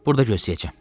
burda gözləyəcəm.